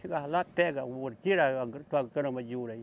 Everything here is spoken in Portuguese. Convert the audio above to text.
Chegava lá, pega o ouro, tira a gra, tua grama de ouro aí.